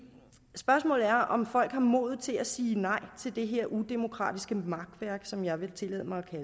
spørgsmålet er om folk har modet til at sige nej til det her udemokratiske makværk som jeg vil tillade mig at